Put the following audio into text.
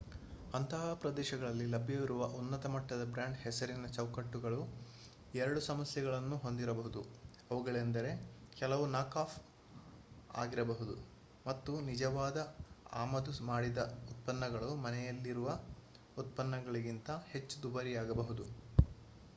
ಅಂತಹ ಪ್ರದೇಶಗಳಲ್ಲಿ ಲಭ್ಯವಿರುವ ಉನ್ನತ-ಮಟ್ಟದ ಬ್ರಾಂಡ್-ಹೆಸರಿನ ಚೌಕಟ್ಟುಗಳು ಎರಡು ಸಮಸ್ಯೆಗಳನ್ನು ಹೊಂದಿರಬಹುದು ಅವುಗಳೆಂದರೆ ಕೆಲವು ನಾಕ್-ಆಫ್ ಆಗಿರಬಹುದು ಮತ್ತು ನಿಜವಾದ ಆಮದು ಮಾಡಿದ ಉತ್ಪನ್ನಗಳು ಮನೆಯಲ್ಲಿರುವ ಉತ್ಪನ್ನಗಳಿಗಿಂತ ಹೆಚ್ಚು ದುಬಾರಿಯಾಗಬಹುದು